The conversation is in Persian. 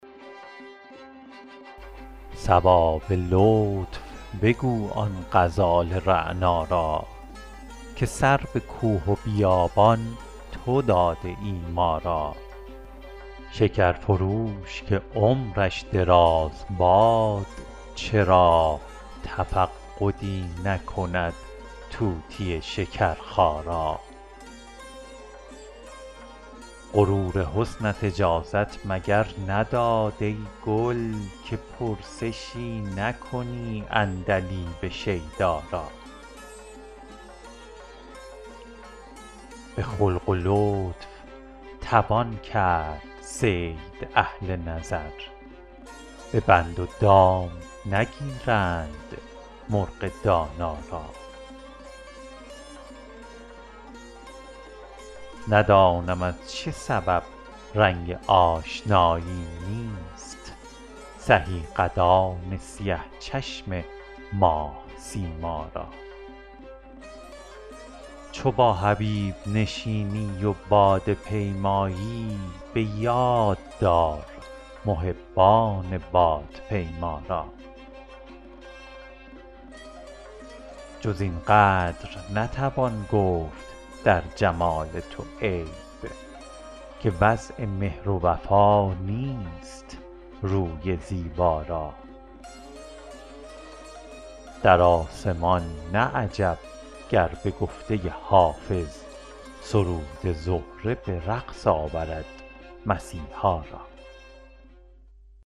صبا به لطف بگو آن غزال رعنا را که سر به کوه و بیابان تو داده ای ما را شکر فروش که عمرش دراز باد چرا تفقدی نکند طوطی شکرخا را غرور حسنت اجازت مگر نداد ای گل که پرسشی نکنی عندلیب شیدا را به خلق و لطف توان کرد صید اهل نظر به بند و دام نگیرند مرغ دانا را ندانم از چه سبب رنگ آشنایی نیست سهی قدان سیه چشم ماه سیما را چو با حبیب نشینی و باده پیمایی به یاد دار محبان بادپیما را جز این قدر نتوان گفت در جمال تو عیب که وضع مهر و وفا نیست روی زیبا را در آسمان نه عجب گر به گفته حافظ سرود زهره به رقص آورد مسیحا را